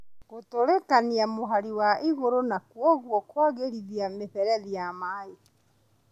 Gũtũrĩkania mũhari wa igũrũ na kwoguo kwagĩrĩria mĩberethi ya maĩ